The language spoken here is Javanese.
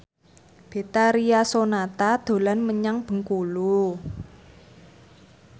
Betharia Sonata dolan menyang Bengkulu